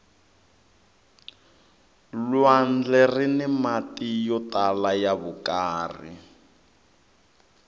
lwandle rini mati yo tala ya vukarhi